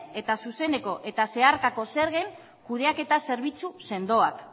eta zuzeneko eta zeharkako zergen kudeaketa zerbitzu sendoak